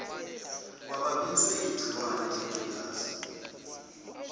kwabaphethwe yigciwane lengculazi